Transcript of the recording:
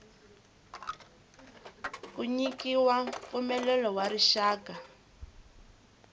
ku nyikiwa mpfumelelo wa rixaka